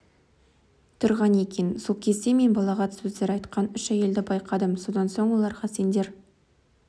тұрған екен сол кезде мен балағат сөздер айтқан үш әйелді байқадым содан соң оларға сендер